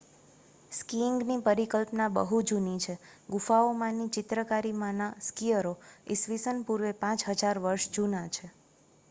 સ્કીઇંગની પરિકલ્પના બહુ જૂની છે ગુફાઓમાંની ચિત્રકારીમાંના સ્કીઅરો ઈસ્વી પૂર્વે 5000 વર્ષ જૂના છે